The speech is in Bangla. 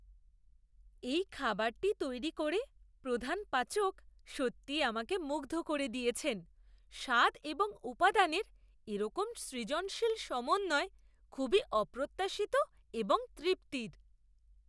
এই খাবারটি তৈরি করে প্রধান পাচক সত্যিই আমাকে মুগ্ধ করে দিয়েছেন; স্বাদ এবং উপাদানের এরকম সৃজনশীল সমন্বয় খুবই অপ্রত্যাশিত এবং তৃপ্তির।